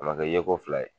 A ma kɛ yeko fila ye